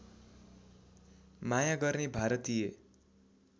माया गर्ने भारतीय